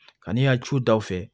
Kan'i y'a ju da u fɛ